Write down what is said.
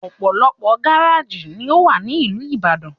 Ọ̀pọ̀lọpọ̀ gáréjì ni ówà ní ìlú Ìbàdàn